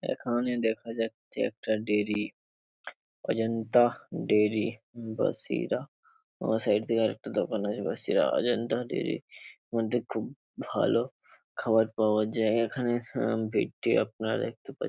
এখানে দেখা যাচ্ছে একটা ডেরি । অজন্তা ডেরি বাসিরা। বাঁ সাইড থেকে আর একটা দোকান আছে বাসিরা অজন্তা ডেরির মধ্যে খুব ভালো খাবার পাওয়া যায় এখানে হা ভিড়টি আপনারা দেখতে পাচ --